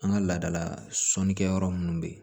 An ka laadala sɔnnikɛ yɔrɔ munnu bɛ ye